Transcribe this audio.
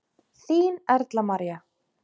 Þín Erla María.